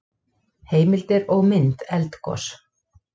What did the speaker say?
Heimildir og mynd Eldgos.